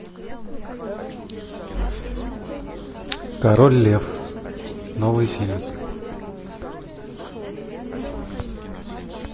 король лев новый фильм